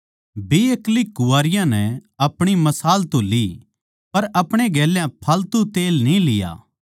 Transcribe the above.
बेअक्ली कुवारियाँ नै अपणी मशाल तो ली पर अपणे गेल्या फालतू तेल न्ही लिया